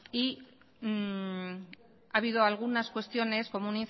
y ha habido algunas cuestiones como